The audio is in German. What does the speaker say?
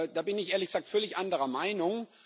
Da bin ich, ehrlich gesagt, völlig anderer Meinung.